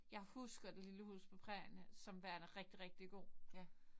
Jeg husker det lille hus på prærien som værende rigtig rigtig god